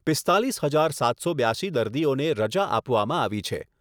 પીસ્તાલિસ હજાર સાતસો બ્યાશી દર્દીઓને રજા આપવામાં આવી છે.